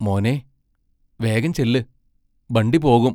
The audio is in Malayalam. മോനേ, വേഗം ചെല്ല്, ബണ്ടി പോകും!